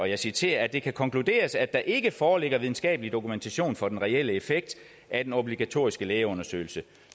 jeg citerer det kan konkluderes at der ikke foreligger videnskabelig dokumentation for den reelle effekt af den obligatoriske lægeundersøgelse